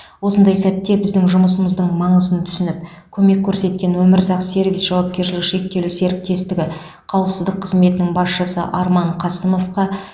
осындай сәтте біздің жұмысымыздың маңызын түсініп көмек көрсеткен өмірзақ сервис жауапкершілігі шектеулі серіктестігі қауіпсіздік қызметінің басшысы арман қасымовқа